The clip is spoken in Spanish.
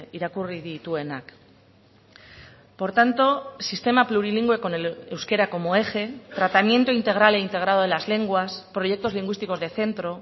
irakurri dituenak por tanto sistema plurilingüe con el euskera como eje tratamiento integral e integrado de las lenguas proyectos lingüísticos de centro